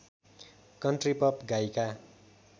country pop गायिका